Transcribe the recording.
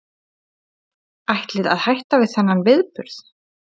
Ætlið að hætta við þennan viðburð?